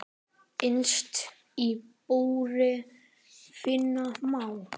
Innst í búri finna má.